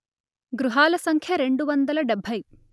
గృహాల సంఖ్య రెండు వందలు డెబ్బై